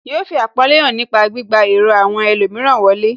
Yóò fi àpọ́nlé hàn nípa gbígba èrò àwọn ẹlòmíràn wọlé